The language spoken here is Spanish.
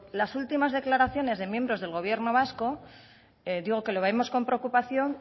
las últimas declaraciones del miembros del gobierno vasco digo que lo vemos con preocupación